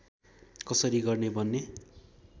कसरी गर्ने भन्ने